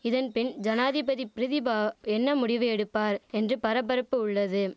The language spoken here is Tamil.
இதன் பின் ஜனாதிபதி பிரிதிபா என்ன முடிவு எடுப்பார் என்று பரபரப்பு உள்ளது